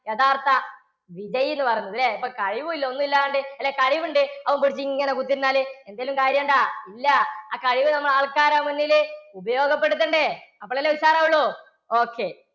യഥാർത്ഥ വിജയി എന്ന് പറയുന്നത് അല്ലേ? ഇപ്പോൾ കഴിവുമില്ല ഒന്നും ഇല്ലാണ്ട് അല്ല ഇപ്പോൾ കഴിവുണ്ട് അത് പിടിച്ച് ഇങ്ങനെ കുത്തി ഇരുന്നാൽ എന്തേലും കാര്യം ഉണ്ടോ? ഇല്ല ആ കഴിവ് നമ്മൾ ആൾക്കാരുടെ മുന്നിൽ ഉപയോഗപ്പെടുത്തണ്ടേ? അപ്പോഴല്ലേ ഉഷാർ ആവുകയുള്ളു? okay